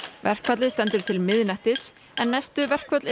verkfallið stendur til miðnættis en næstu verkföll